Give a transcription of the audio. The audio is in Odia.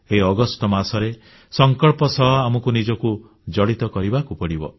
ଏହି ଅଗଷ୍ଟ ମାସରେ ସଂକଳ୍ପ ସହ ଆମକୁ ନିଜକୁ ଜଡ଼ିତ କରିବାକୁ ପଡ଼ିବ